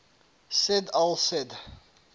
said al said